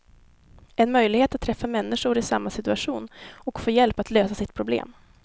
En möjlighet att träffa människor i samma situation och få hjälp att lösa sitt problem.